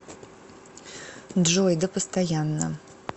джой да постоянно